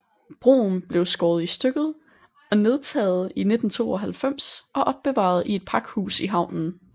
Broen blev skåret i stykket og nedtaget i 1992 og opbevaret i et pakhus i havnen